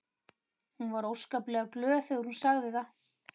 Hún var óskaplega glöð þegar hún sagði það.